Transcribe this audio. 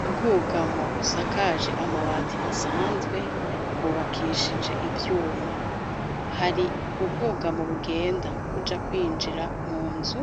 Ubwugamo, busakaje Amabati asanzwe ,bwubakishije ivyuma, hari ubwugamo bugenda buja kwinjira mu nzu